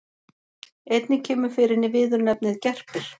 Einnig kemur fyrir viðurnefnið gerpir.